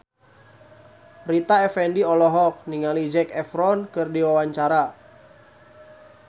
Rita Effendy olohok ningali Zac Efron keur diwawancara